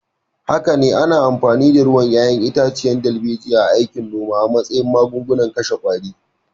Haka ne, ana amfani da ruwan 'ya'yan itace darbejiya a aikin noma a matsayin magungunan kashe qwari.